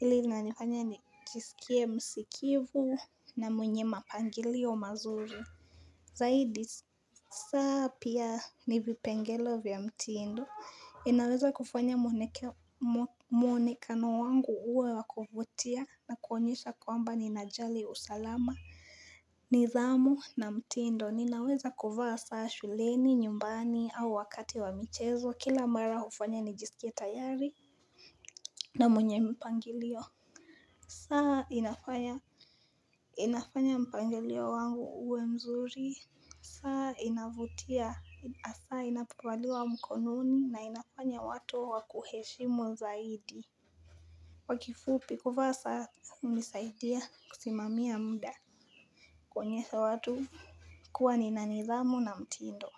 ilinanifanya nijisikie msikivu na mwenye mapangilio mazuri. Zaidi saa pia ni vipengele vya mutindo inaweza kufanya mwonekano wangu huwe wa kufutia na kuonyesha kwamba ninajali usalama. Nidhamu na mtiindo, ninaweza kufanya saa shuleni, nyumbani au wakati wa michezo, kila mara hufanya nijisikia tayari na mwenye mpangilio. Saa inafanya mpangilio wangu uwe mzuri. Saa inavutia asaa inapovaliwa mkononi na inafanya watu wakuheshimu zaidi kwa kifupi kuvaa saa unisaidia kusimamia muda. Kuonyesha watu kuwa nina nidhamu na mtindo.